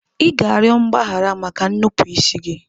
Ị ga-arịọ mgbaghara maka nnupụisi gị.